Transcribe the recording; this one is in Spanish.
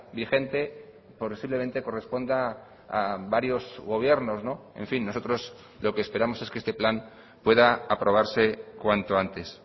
vigente posiblemente corresponda a varios gobiernos en fin nosotros lo que esperamos es que este plan pueda aprobarse cuanto antes